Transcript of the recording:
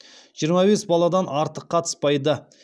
жиырма бес баладан артық қатыспайды